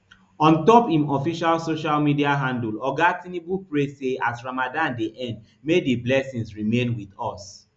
ontop im official social media handle oga tinubu pray say as ramadan dey end may di blessings remain with us